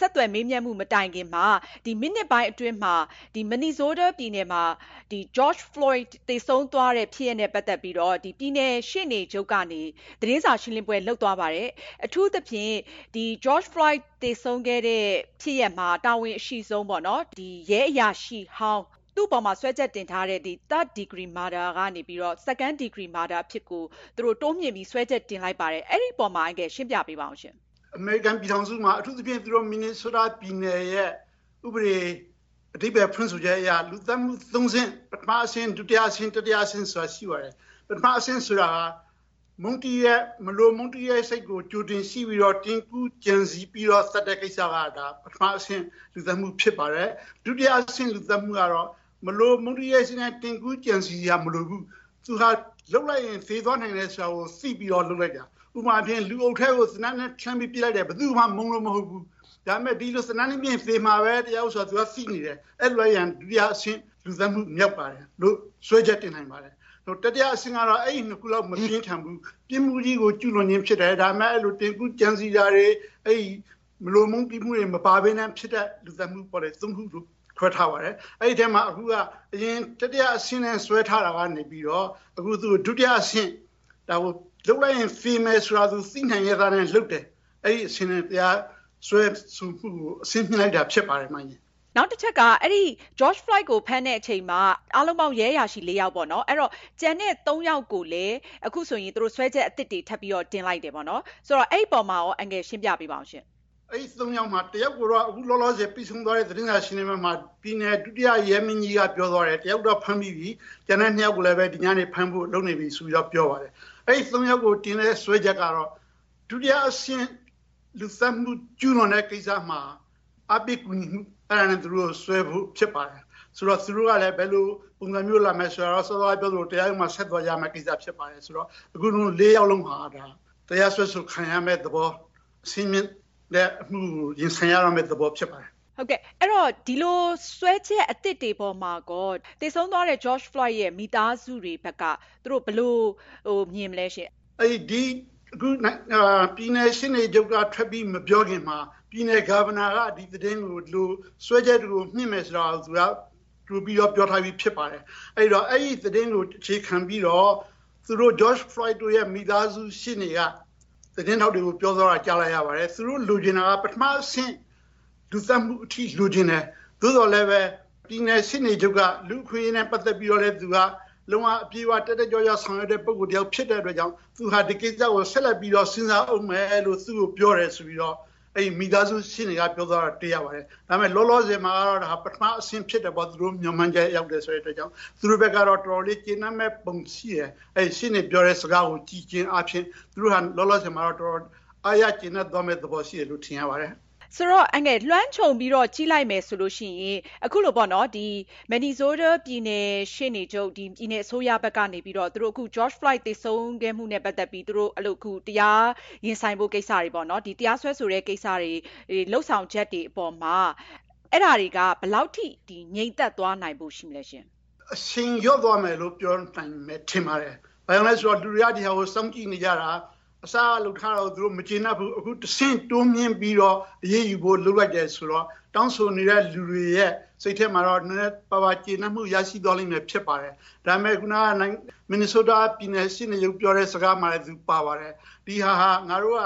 ဆက်သွယ်မေးမြန်းမှု မတိုင်ခင်မှာ မိနစ်ပိုင်းအတွင်းမှာ Minnesota ပြည်နယ်မှာ George Floyd သေဆုံးသွားတဲ့ ဖြစ်ရပ်နဲ့ ပတ်သက်ပြီးတော့ ပြည်နယ်ရှေ့နေချုပ်ကနေ သတင်းစာ ရှင်းလင်းပွဲ လုပ်သွားပါတယ်။ အထူးသဖြင့် George Floyd သေဆုံးသွားတဲ့ ဖြစ်ရပ်မှာ တာဝန်အရှိဆုံး ရဲအရာရှိ အပေါ်မှာ စွဲချက်တင်ထားတဲ့ Third degree murder ကနေပြီးတော့ Second degree murder အဖြစ်ကို တိုးမြှင့်ပြီး စွဲချက်တင်လိုက်ပါတယ်။ အဲဒီအပေါ်မှာ ရှင်းပြပေးပါရှင့်။ အမေရိကန်ပြည်ထောင်စု အထူးသဖြင့် Minnesota ပြည်နယ်ရဲ့ ဥပဒေ အဓိပ္ပါယ်ဖွင့်ဆိုချက်အရ လူသတ်မှု ၃ ဆင့် ၊ ပထမအဆင့် ဒုတိယအဆင့် တတိယအဆင့် ဆိုတာ ရှိပါတယ်။ ပထမအဆင့် ဆိုတာဟာ မလို မုန်းတီးတဲ့ စိတ်ကြိုတင်ရှိပြီးတော့ ကြိုတင်ကြံစည် ပြီးတော့ သတ်တဲ့ကိစ္စပါ ဒါက ပထမအဆင့် လူသတ်မှု ဖြစ်ပါတယ်။ ဒုတိယအဆင့် လူသတ်မှုကတော့ မလိုမုန်းတီးတဲ့ စိတ်နဲ့ ကြိုတင်ကြံစည် စရာမလိုဘူး ။ လုပ်လိုက်ရင် သေသွားနိုင်တယ်ဆိုတာ သိပြီးတော့ လုပ်လိုက်တာ ။ ဥပမာ အားဖြင့် လူအုပ်ထဲကို သေနတ်နဲ့ ပစ်လိုက်တယ် ဘယ်သူ့ကိုမှ မုန်းလို့ မဟုတ်ဘူး ။ ဒါပေမယ့် သေနတ်နဲ့ ပစ်ရင် သေမှာပဲဆိုတာ သိနေတယ် အဲဒီလိုလုပ်ရင် ဒုတိယအဆင့် လူသတ်မှုမြောက်လို့ စွဲချက်တင်နိုင်ပါတယ်။ တတိယအဆင့် ကတော့ အဲဒီ ၂ ခုလောက် မပြင်းထန်ဘူး ၊ ပြစ်မှုကို ကူးလွန်တာဖြစ်တယ် ။ ဒါပေမယ့် ကြိုတင်ကြံစည်တာတွေ ၊ မလို မုန်းတီးတာတွေ မပါပဲ ဖြစ်သွားတဲ့ လူသတ်မှုလို့ ခေါ်တယ် အဲဒီလို ၃ ဆင့် ခွဲထားပါတယ်။ အဲဒီအထဲမှာ အခုက အရင် တတိယအဆင့်နဲ့ စွဲထားတာကနေ ဒုတိယအဆင့် လုပ်လိုက်ရင် သေမယ်ဆိုတာ သိရဲ့သားနဲ့ လုပ်တယ်ဆိုတာနဲ့ စွဲဆိုမှုကို အဆင့်မြှင့်လိုက်တာ ဖြစ်ပါတယ်။ နောက်တချက်က George Floyd ကို ဖမ်းတဲ့အချိန်မှာ အားလုံးပေါင်း ရဲအရာရှိ ၄ ယောက်ပေါ့နော်။ ကျန်တဲ့ ၃ ယောက်ကိုလည်း အခု စွဲချက်အသစ်တွေ ထပ်ပြီးတော့ တင်လိုက်တယ်။ အဲဒီအပေါ်မှာရော အန်ကယ် ရှင်းပြပေးပါ။ အဲဒီ ၃ ယောက်မှာ တယောက်ကိုတော့ အခုပြီးသွားတဲ့ သတင်းစာရှင်းလင်းပွဲမှာ ပြည်နယ် ဒုတိယ ရဲမင်းကြီးက ပြောသွားတယ် ၊ တယောက်ကတော့ ဖမ်းပြီးပြီ ကျန်တဲ့ ၂ ယောက်ကိုလည်း ဒီညနေ ဖမ်းဖို့ လုပ်နေတယ်လို့ ပြောပါတယ်။ အဲဒီ ၃ ယောက်ကို တင်တဲ့စွဲချက်ကတော့ ဒုတိယအဆင့်လူသတ်မှု ကျူးလွန်တဲ့ ကိစ္စမှာ အားပေးကူညီမှုနဲ့ သူတို့ကို စွဲဖို့ ဖြစ်ပါတယ်။ ဆိုတော့ သူတို့ကလည်း ဘယ်လိုပုံစံမျိုး လာမယ်ဆိုတာကတော့ စောစောကပြောသလို တရားရုံးမှာ ဆက်ပြီးလုပ်ရမယ့်ကိစ္စဖြစ်တယ်။ ဆိုတော့ ၄ ယောက်လုံး တရားစွဲဆိုခံရမယ့်သဘော ၊ အမှုကို ရင်ဆိုင်ရတော့မယ့်သဘောဖြစ်ပါတယ်။ ဒီလို စွဲချက်အသစ်တွေအပေါ်မှာ သေဆုံးသွားတဲ့ George Floyd ရဲ့ မိသားစုတွေဘက်က သူတို့ ဘယ်လို မြင်မလဲရှင့်။ အခု ပြည်နယ်ရှေ့နေချုပ် ထွက်ပြီးမပြောခင်မှာ ပြည်နယ် Governor က စွဲချက်တွေကို မြှင့်မယ်လို့ ကြိုပြီးတော့ ပြောထားတာဖြစ်ပါတယ်။ ဆိုတော့ အဲဒီသတင်းကို အခြေခံပြီးတော့ George Floyd ရဲ့ မိသားစု ရှေ့နေက သတင်းထောက်တွေကို ပြောသွားတာ ကြားလိုက်ရပါတယ်။ သူတို့လိုချင်တာက ပထမအဆင့် လူသတ်မှုအထိ လိုချင်တယ် သို့သော်လည်း ပြည်နယ်ရှေ့နေချုပ်က လူ့အခွင့်အရေးနဲ့ ပတ်သက်ပြီးတော့လည်း တက်တက်ကြွကြွဆောင်ရွက်တဲ့သူ ဖြစ်တဲ့အတွက်ကြောင့် သူက ဒီကိစ္စကို ဆက်လက်ပြီး စဉ်းစားဦးမယ်ဆိုပြီး သူ့ကို ပြောတယ်ဆိုပြီးတော့ မိသားစု ရှေ့နေက ပြောသွားတာတွေ့ရပါတယ်။ ဒါပေမယ့် လောလောဆည်မှာတော့ ပထမအဆင့် လူသတ်မှုအဆင့်ဖြစ်တယ်ပေါ့ သူတို့ မျှော်မှန်းထားတာက။ သူတို့အတွက်ကတော့ တော်တော်လေး ကျေနပ်မယ့်ပုံရှိတယ်။ ရှေ့နေပြောတဲ့ စကားကို ကြည့်ချင်းအားဖြင့် သူတို့ လောလောဆည်မှာ တေ်ာတော်အားရကျေနပ်သွားမယ့် သဘောရှိတယ်လို့ ထင်ရပါတယ်။ ဆိုတော့ လွှမ်းခြုံပြီးတော့ ကြည့်မယ်ဆိုရင ် Minnesota ပြည်နယ်ရှေ့နေချုပ် ပြည်နယ်အစိုးရဘက်ကနေပြီးတော့ George Floyd သေဆုံးမှုနဲ့ ပတ်သက်ပြီး သူတို့ တရားရင်ဆိုင်ဖို့ ကိစ္စတွေ ၊ တရားစွဲဆိုတဲ့ ကိစ္စတွေ လုပ်ဆောင်ချက်တွေအပေါ်မှာ အဲဒါတွေက ဘယ်လောက်အထိ ငြိမ်သက်သွားနိုင်ဖို့ ရှိမလဲရှင့်။ အရှိန်လျှော့သွားမယ်လို့ ပြောနိုင်မယ် ထင်ပါတယ်။ ဘာဖြစ်လို့လဲဆိုတော့ လူတွေက ဒါကို စောင့်ကြည့်နေကြတာ ။အစက လုပ်ထားတာကို သူတို့ မကျေနပ်ဘူး ။ အခုတဆင့် တိုးမြင့်ပြီးတော့ အရေးယူဖို့ လုပ်လိုက်တယ်ဆိုတော့ တောင်းဆိုနေတဲ့ လူတွေရဲ့ စိတ်ထဲမှာတော့ နည်းနည်းပါးပါး ကျေနပ်မှု ရရှိမှာဖြစ်ပါတယ်။ ဒါပေမယ့် Minnesota ပြည်နယ်ရှေ့နေချုပ်ပြောတဲ့ စကားမှာလည်းပါပါတယ် “ဒါက ငါတို့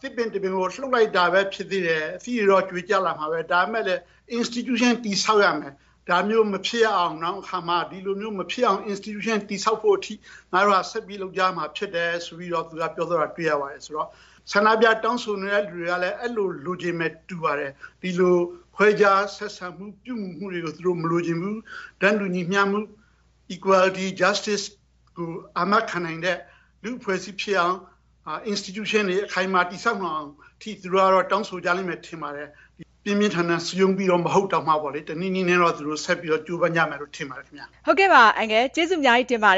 သစ်ပင်တပင်ကို လှုပ်လိုက်တာပဲဖြစ်သေးတယ် ။ အသီးတွေတော့ ကြွေကျလာမှာပဲ ဒါပေမယ့် Institution တည်ဆောက်ရမယ် ။ ဒါမျိုး နောင်မှာ မဖြစ်ရအောင် Institution တည်ဆောက်ဖို့အထိ ဆက်ပြီးလုပ်ရမှာဖြစ်တယ်” ဆိုပြီး သူပြောသွားတာ တွေ့ရပါတယ်။ ဆိုတော့ ဆန္ဒပြတောင်းဆိုနေတဲ့ သူတွေကလည်း အဲလို လိုချင်မယ်တူပါတယ်။ဒီလို ခွဲခြားဆက်ဆံ ပြုမှုတာတွေကို သူတို့ မလိုချင်ဘူး၊ တန်းတူညီမျှမှုတွေ Equality ၊ Justice ကို အာမခံတဲ့ လူ့အဖွဲ့အစည်းဖြစ်အောင် Institution တွေ အခိုင်အမာ တည်ဆောက်နိုင်အောင်အထိ သူတို့ တောင်းဆိုမယ်လို့ ထင်ပါတယ်။ ပြင်းပြင်းထန်ထန် စည်းရုံးတာတွေ မဟုတ်ရင်တောင်မှ တနည်းနည်းနဲ့ ဆက်ပြီးတော့ ကြိုးပမ်း မယ်လို့ထင်ပါတယ်။ ဟုတ်ကဲ့ပါ ကျေးဇူးအများကြီးတင်ပါတ